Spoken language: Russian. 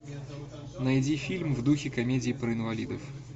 найди фильм в духе комедии про инвалидов